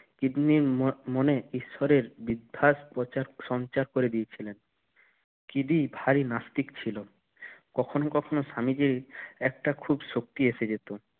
কিদনির মনে ঈশ্বরের বিদ্বাস প্রচার সঞ্চার করে দিয়েছিলেন কিদি ভারি নাস্তিক ছিল কখনো কখনো স্বামীজি একটা খুব শক্তি এসে যেতো